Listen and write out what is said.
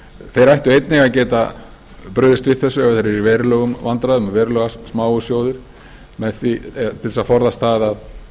þeir ættu einnig að geta brugðist við þessu ef þeir eru í verulegum vandræðum og verulega smáir sjóðir til að forðast það að